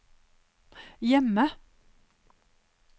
hjemme